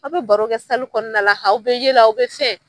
Aw bɛ baro kɛ kɔnɔna la aw bɛ yɛlɛ aw bɛ fɛn.